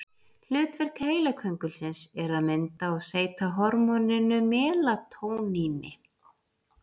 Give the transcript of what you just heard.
Hlutverk heilaköngulsins er að mynda og seyta hormóninu melatóníni.